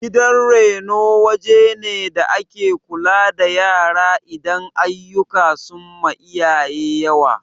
Gidan reno wajene da ake kula da yara idan aiyuka sunma iyayensu yawa